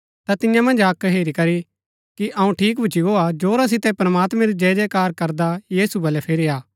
ता तियां मन्ज अक्क ऐह हेरी करी की अऊँ ठीक भूच्ची गो हा जोरा सितै प्रमात्मैं री जयजयकार करदा यीशु बलै फिरी आ